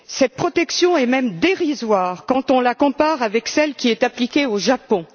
Cette protection est même dérisoire quand on la compare avec celle qui est appliquée au Japon.